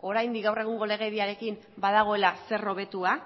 oraindik gaur egungo legediarekin badagoela zer hobetua